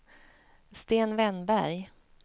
Sten Wennberg